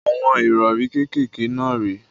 Àwọn ìrọrí kékèké náà rè é.